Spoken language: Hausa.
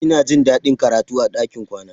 Ina jin daɗin karatu a ɗakin kwana.